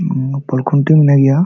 ᱱᱚᱣᱟ ᱯᱳᱞ ᱠᱷᱩᱱᱴᱤ ᱢᱮᱱᱟᱜ ᱜᱤᱭᱟ᱾